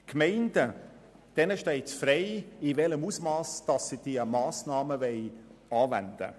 Den Gemeinden steht es frei, in welchem Ausmass sie die Massnahmen anwenden.